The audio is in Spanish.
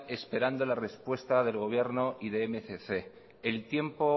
esperando la respuesta del gobierno y de mil doscientos el tiempo